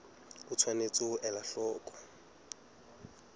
o tshwanetse ho ela hloko